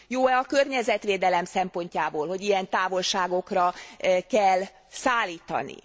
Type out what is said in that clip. Jó e a környezetvédelem szempontjából, hogy ilyen távolságokra kell szállítani?